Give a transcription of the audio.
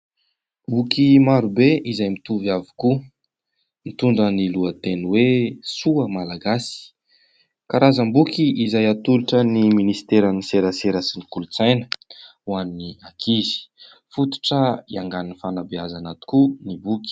Boky marobe izay mitovy avokoa, mitondra ny lohateny hoe "Soa Malagasy", karazam-boky izay atolotra ny Ministeran'ny serasera sy ny kolontsaina ho an'ny ankizy. Fototra hiaingan'ny fanabeazana tokoa ny boky.